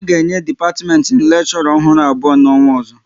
A ga-enye dipatiment m lekshora ọhụrụ abụọ n'ọnwa ozo